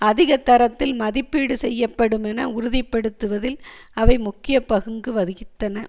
அதிகதரத்தில் மதிப்பீடு செய்யப்படுமென உறுதி படுத்துவதில் அவை முக்கிய பங்கு வகித்தன